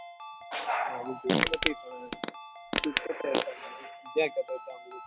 જોઈ નથી પણ